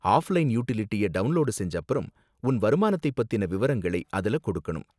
Offline யுடிலிட்டியை download செஞ்சப்பறம், உன் வருமானத்தை பத்தின விவரங்களை அதுல கொடுக்கணும்.